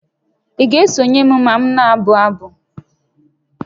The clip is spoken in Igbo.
Ị ga-esonye m ma m na-abụ abụ?